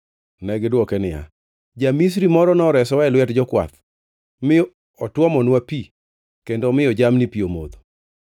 Negidwoke niya, “Ja-Misri moro noresowa e lwet jokwath, mi otuomonwa pi kendo omiyo jamni pi omodho.”